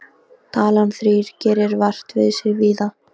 Talan þrír gerir vart við sig víða.